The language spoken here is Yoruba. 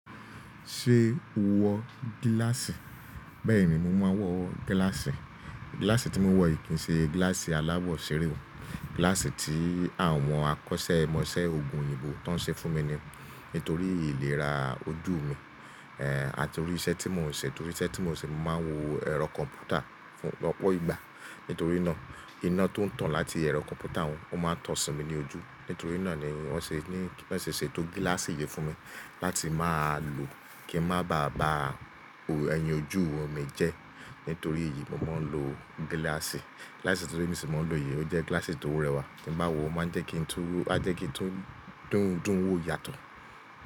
Ṣé o wọ gíláàsì? Bẹ́ẹ̀ni mo máa ń wọ gíláàsì. Gíláàsì tí mo wọ̀ kì í ṣe gíláàsì aláwọ̀ ṣeré o. Gíláàsì tí àwọn akọ́ṣẹ́mọṣẹ́ òògùn òyìnbó tán ṣe fún mi ní torí ìlera ojú mi, ẹ́ àti torí iṣẹ́ tí mo ń ṣe. Torí iṣẹ́ tí mo ń ṣe, mo máa ń wo ẹ̀rọ kọ̀m̀pútà lọ́pọ̀ ìgbà. Nítorí náà iná tó ń tàn láti ẹ̀rọ kọ̀m̀pútà wọ́n, ó máa ń tàn sí mi ní ojú. Nítorí náà ni wón ṣe ní kí wón ṣe ṣètò gíláàsì yìí fún mi láti máa lò kí n má bàa bàa ẹyin ojú mi jẹ́. Nítorí èyí mo máa ń lo gíláàsì. Gíláàsì tíru emi ṣi máa ń lò yìí, ó jẹ́ gíláàsì tó rẹwà. Tí bá wọ̀ o máa ń jẹ́ kí ń túń, á jẹ́ kí ń tún dúńdún wò yàtọ̀.